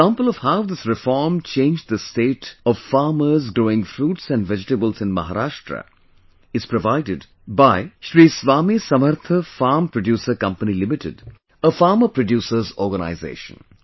An example of how this reform changed the state of farmers growing fruits and vegetables in Maharashtra is provided by Sri Swami Samarth Farm Producer Company limited a Farmer Producer's Organization